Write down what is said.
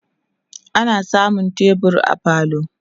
ana samun tebur a falo